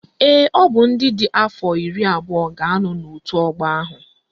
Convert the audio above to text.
Ee, ọ bụ ndị dị afọ iri abụọ ga-anọ n'otu ọgbọ ahụ